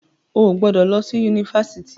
O ò gbọdọ̀ lọ sí Yunifásitì.